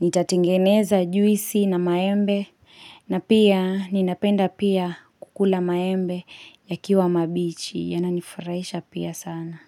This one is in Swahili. nitatengeneza juisi na maembe, na pia ninapenda pia kukula maembe yakiwa mabichi, yananifurahisha pia sana.